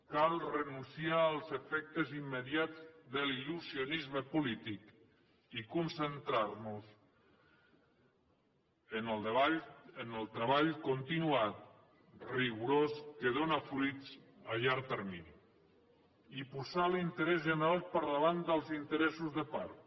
cal renunciar als efectes immediats de l’il·lusionisme polític i concentrar nos en el treball continuat rigorós que dóna fruits a llarg termini i posar l’interès general per davant dels interessos de part